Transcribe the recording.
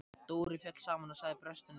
Dóri féll saman og sagði brostinni röddu: